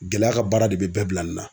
Gɛlɛya ka baara de bɛ bɛɛ bila nin na.